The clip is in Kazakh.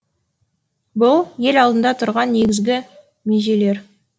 бұл ел алдында тұрған негізгі межелер